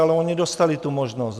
Ale oni dostali tu možnost.